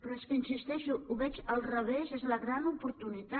però és que hi insisteixo ho veig al revés és la gran oportunitat